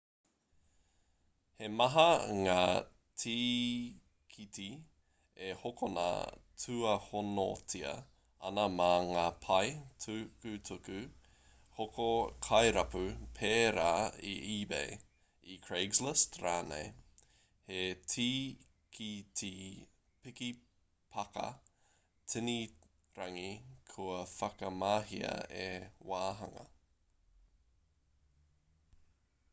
he maha ngā tīkiti e hokona tuihonotia ana mā ngā pae tukutuku hoko kairapu pērā i ebay i craiglist rānei he tīkiti piki-pāka tini-rangi kua whakamahia he wāhanga